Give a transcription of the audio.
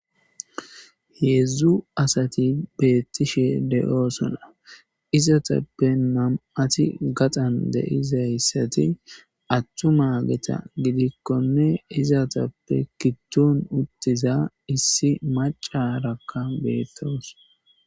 hedzdzu asati beettishe de'osona izatappe nam'ati gaxan deizayssati attuma geta gidikkonne izatappe gidon uttiza issi macarakka betawus